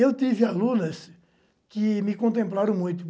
Eu tive alunas que me contemplaram muito.